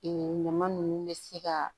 ɲama ninnu bɛ se ka